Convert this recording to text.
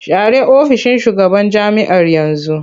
Share ofishin shugaban jami'ar yanzu!